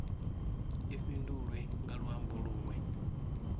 i fhindulwe nga luambo lunwe